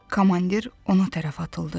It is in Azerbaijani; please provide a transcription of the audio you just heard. Komandir ona tərəf atıldı.